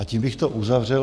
A tím bych to uzavřel.